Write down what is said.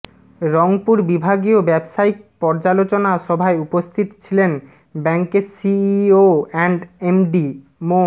রংপুর বিভাগীয় ব্যাবসায়িক পর্যালোচনা সভায় উপস্থিত ছিলেন ব্যাংকের সিইও অ্যান্ড এমডি মো